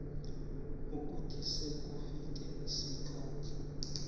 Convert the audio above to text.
ukuthi sekufike isikhathi